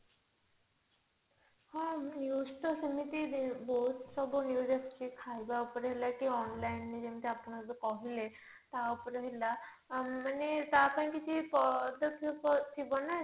ହଁ news ତ ସେମିତି ବହୁତ ସବୁ news ଆସୁଛି ଖାଇବା ଉପରେ ହେଲା କି online ରେ ଆପଣ ଏବେ କହିଲେ ତା ଉପରେ ହେଲା ମାନେ ତା ପାଇଁ କିଛି ପଦକ୍ଷେପ ଥିବନା